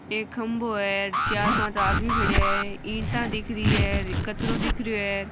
एक खम्भों है चार पांच आदमी खड़े है ईट दिख रही है कचरों दिख रह्यो है।